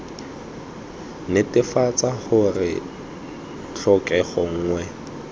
d netefatsa gore tlhokego nngwe